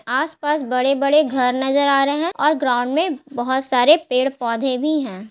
आस-पास बड़े-बड़े घर नजर आ रहे है और ग्राउंड में पेड़-पौधे भी है।